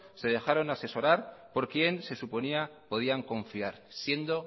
se dejaron asesorar por quien se suponía podían confiar siendo